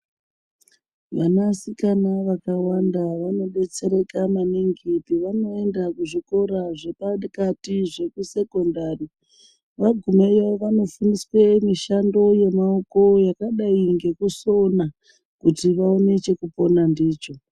Vanasikana vakawanda vanobetsereka maningi pavaneonda kuzvikora zve pakati zveku secondary vagumeyo vanofundiswa mishando yemaoko yakadai ngekusona kuti vaone chekupona ndicho.